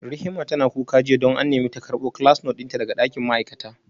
Rihima tana kuka jiya don an nemi ta karbo class note dinta daga dakin ma'aikata